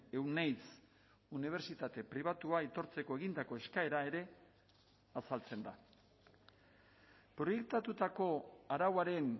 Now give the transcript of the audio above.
euneiz unibertsitate pribatua aitortzeko egindako eskaera ere azaltzen da proiektatutako arauaren